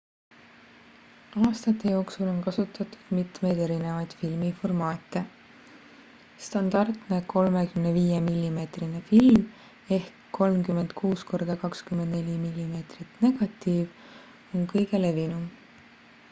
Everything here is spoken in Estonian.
aastate jooksul on kasutatud mitmeid erinevaid filmiformaate. standardne 35 mm film 36 x 24 mm negatiiv on kõige levinum